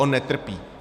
On netrpí.